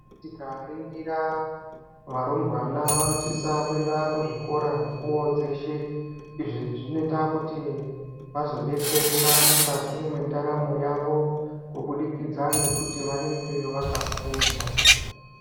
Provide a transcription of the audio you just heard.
Tikaringira varumbwana vanosisa kuenda kuzvikoro mukuwo dzeshe. Izvi zvinoita kuti vazodetsereka mukati mwendaramo yavo kubudikidza ngekuti vanenge vakafunda.